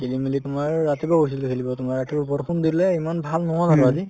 খেলি মেলি তোমাৰ ৰাতিপুৱা হৈছিলে খেলিব তোমাৰ ৰাতিপুৱা বৰষুণ দিলে ইমান ভাল নহল আৰু আজি